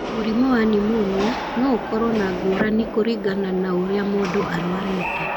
Mũrimũ wa pneumonia no ũkorũo na ngũrani kũringana na ũrĩa mũndũ arũarĩte.